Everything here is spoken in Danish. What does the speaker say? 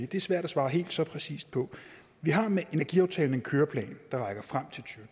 det svært at svare helt så præcist på vi har med energiaftalen en køreplan der rækker frem til